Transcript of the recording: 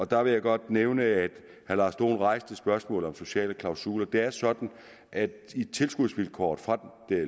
der vil jeg godt nævne at herre lars dohn rejste spørgsmålet om sociale klausuler det er sådan at der i tilskudsvilkåret for